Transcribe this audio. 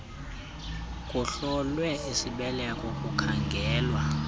kuhlolwe isibeleko kukhangelwa